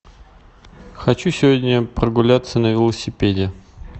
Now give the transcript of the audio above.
хочу сегодня прогуляться на велосипеде